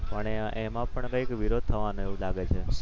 પણ એમાં પણ કંઈક વિરોધ થવાનો એવું લાગે છે.